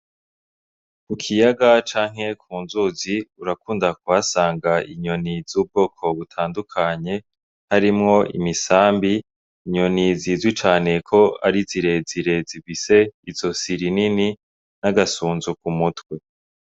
Ku kiyaga canke ku nzuzi urakunda kuhasanga inyoni z'ubwoko butandukanye harimwo imisambi, inyoni zizwi cane ko ari zirezire zifise izosi rinini n'agasunzu ku mutwe.